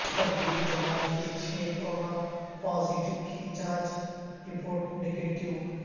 تبلیغی جماعت کے چھہ کورونا پازیٹیو کی جانچ رپورٹ نگیٹیو